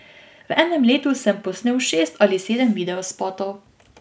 V enem letu sem posnel šest ali sedem videospotov.